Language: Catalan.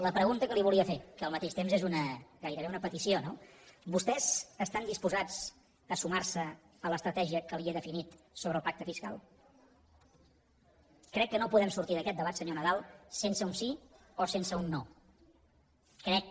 la pregunta que li volia fer que al mateix temps és gairebé una petició no vostès estan disposats a sumar se a l’estratègia que li he definit sobre el pacte fiscal crec que no podem sortir d’aquest debat senyor nadal sense un sí o sense un no crec